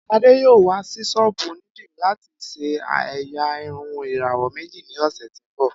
Ade yoo wa si sọ́ọ́bú onidiri lati ṣe ẹ́yá irun irawọ meji ni ọsẹ ti n bọ.